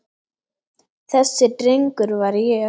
Þessi drengur var ég.